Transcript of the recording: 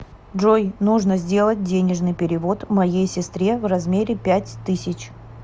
джой нужно сделать денежный перевод моей сестре в размере пять тысяч